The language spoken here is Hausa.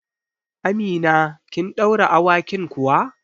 Amina, kin ɗaure awakin kuwa?